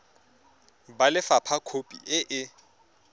ba lefapha khopi e e